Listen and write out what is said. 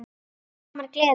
Og aldrei framar gleði.